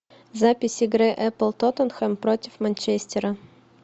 запись игры апл тоттенхэм против манчестера